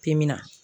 Timi na